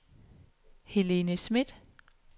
Helene Smith